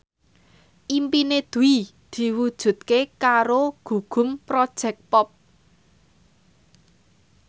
impine Dwi diwujudke karo Gugum Project Pop